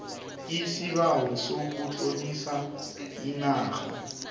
isibawo sokutlolisa inarha